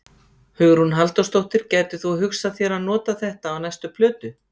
Hugrún Halldórsdóttir: Gætir þú hugsað þér að nota þetta á næstu plötu?